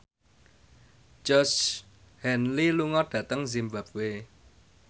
Georgie Henley lunga dhateng zimbabwe